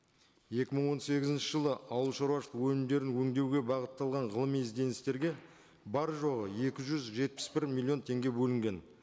екі мың он сегізінші жылы ауыл шаруашылық өнімдерін өндеуге бағытталған ғылыми ізденістерге бар жоғы екі жүз жетпіс бір миллион теңге бөлінген